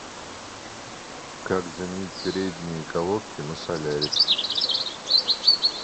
как заменить передние колодки на солярис